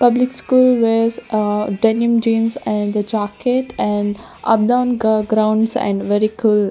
public school wears a denim jeans and the jacket and up down grounds and very cool--